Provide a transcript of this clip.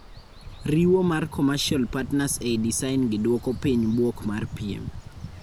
Riwo mar commercial partners ei design gi duoko piny buok mar piem.